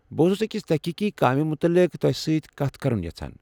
بہٕ اوسُس اكِس تحقیقی کامہِ متعلق تۄہہِ سۭتۍ کتھ کرُن یژھان ۔